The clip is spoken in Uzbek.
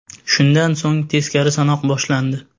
Shundan so‘ng teskari sanoq boshlandi.